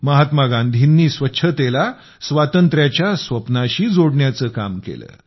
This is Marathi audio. महात्मा गांधींनी स्वच्छतेला स्वातंत्र्याच्या स्वप्नाशी जोडण्याचे काम केले